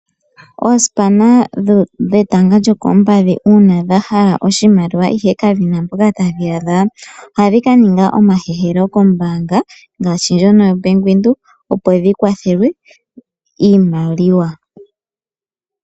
Osipa dhetanga lyokoompadhi una dha hala oshimaliwa ihe kadhina mpoka tadhi shi adha, ohadhi ka ninga omahehelo kombanga. Ngaashi ndjono yoBank Windhoek opo dhi kwathelwe iimaliwa.